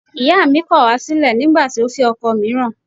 Ìyáà mi kọ̀ wá sílẹ̀ nígbà tí ó fẹ́ ọkọ mìíràn